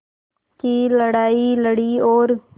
की लड़ाई लड़ी और